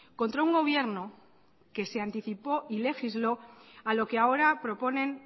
contra un gobierno que se anticipó y legisló a lo que ahora proponen